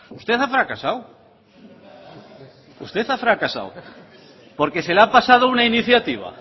usted ha fracasado usted ha fracasado porque se le ha pasado una iniciativa